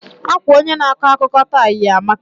Akwa onye na ako akụkọ taa yi amaka.